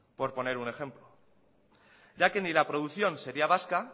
por poner un ejemplo ya que ni la producción sería vasca